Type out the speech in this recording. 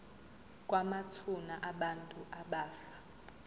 kwamathuna abantu abafa